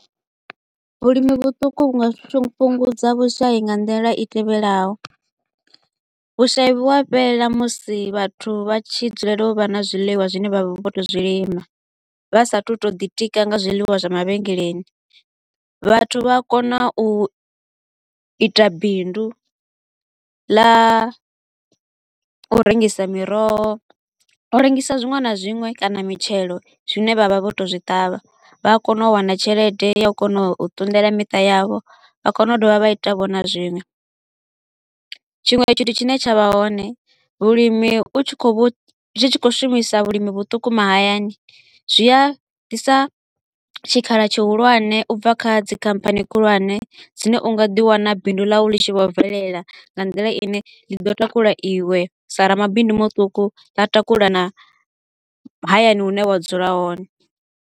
Vhulimi vhuṱuku vhu nga fhungudza vhushai nga nḓila i tevhelaho. Vhushai vhu a fhela musi vhathu vha tshi dzulela u vha na zwiḽiwa zwine vha vha vho to u zwilima, vha sa a thu u to u ḓi tika nga zwiḽiwa zwa mavhengeleni. Vhathu vha a kona u ita bindu ḽa u rengisa miroho, u rengisa zwiṅwe na zwiṅwe kana mitshelo zwine vha vha vho to u zwi ṱavha, vha a kona u wana tshelede ya u kona u ṱunḓela miṱa yavho, vha a kona vho u dovha vha ita vho na zwiṅwe. Tshiṅwe tshithu tshine tsha vha hone, vhulimi u tshi kho u vhu zwi tshi kho u shumisa vhulimi vhuṱuku mahayani, zwi ḓisa tshikhala tshihulwane u bva kha dzikhamphani khulwane dzine u nga ḓi wana bindu ḽau ḽi tshi vho bvelela nga nḓila i ne ḽi ḓo takula iwe sa ramabindu muṱuku ḽa takula na hayani hune wa dzula hone.